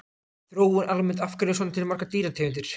Þróun almennt Af hverju eru til svona margar dýrategundir?